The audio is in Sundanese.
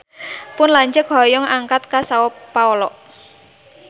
Pun lanceuk hoyong angkat ka Sao Paolo